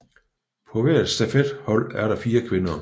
På hvert stafethold er der fire kvinder